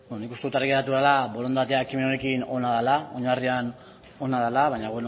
nik uste dut argi geratu dela borondatea ekimen honekin ona dela oinarrian ona dela baina